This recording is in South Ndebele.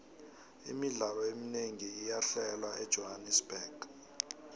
imidlalo eminengi iyahlelwa ejohannerbuxg